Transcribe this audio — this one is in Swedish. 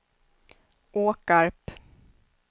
Åkarp